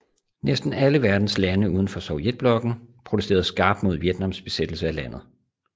Næsten alle verdens lande uden for Sovjetblokken protesterede skarpt mod Vietnams besættelse af landet